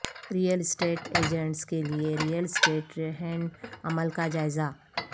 rail estate agents کے لئے real estate رہن عمل کا جائزہ